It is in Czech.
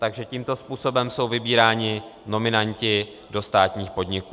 Takže tímto způsobem jsou vybíráni nominanti do státních podniků.